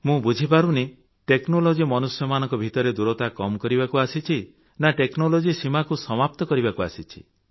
ମୁଁ ବୁଝିପାରୁନାହିଁ ଟେକ୍ନୋଲୋଜି ମନୁଷ୍ୟମାନଙ୍କ ଭିତରେ ଦୂରତା କମ୍ କରିବାକୁ ଆସିଛି ନା ଗ୍ଧରମଷଦ୍ଭକ୍ଟକ୍ଷକ୍ଟଶଚ୍ଚ ସୀମାକୁ ସମାପ୍ତ କରିବାକୁ ଆସିଛି